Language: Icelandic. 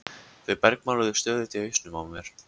Þau bergmáluðu stöðugt í hausnum á mér.